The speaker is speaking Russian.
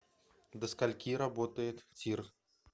до скольки работает тир